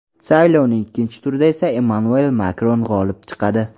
Saylovning ikkinchi turida esa Emmanuel Makron g‘olib chiqadi.